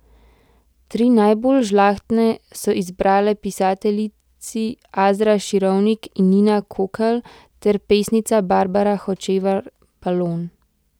Tri najbolj žlahtne so izbrale pisateljici Azra Širovnik in Nina Kokelj ter pesnica Barbara Hočevar Balon.